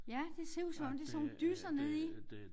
Ja det ser ud som om det sådan nogle dysser nede i